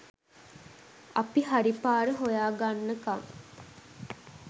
අපි හරි පාර හොයාගන්නකම්